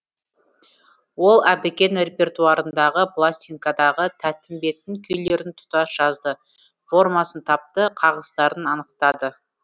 ол әбікен репертуарындағы пластинкадағы тәттімбеттің күйлерін тұтас жазды формасын тапты қағыстарын анықтады